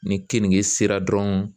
Ni keninge sera dɔrɔnw